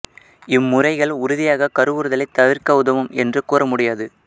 இம்முறைகள் உறுதியாக கருவுறுதலைத் தவிர்க்க உதவும் என்று கூற முடியாது